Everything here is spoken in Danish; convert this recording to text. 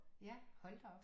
Ja hold da op